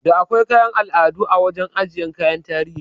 Da akwai kayan al'adu a wajan ajiyan kayan tarihi